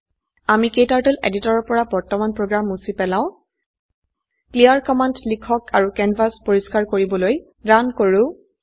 আমি ক্টাৰ্টল এডিটৰৰ পৰা বৰ্তমান প্ৰোগ্ৰাম মুছি পেলাও ক্লিয়াৰ কমান্ড লিখক আৰু ক্যানভাস পৰিষ্কাৰ কৰিবলৈ ৰান কৰো